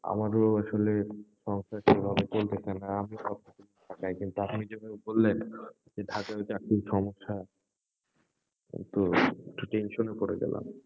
আমারও আসলে, সংসার সেভাবে চলতেসে না, আমি ঢাকায়, কিন্তু আপনি যেভাবে বললেন, যে ঢাকায়ও চাকরির সমস্যা, এই তো, একটু tension এ পরে গেলাম।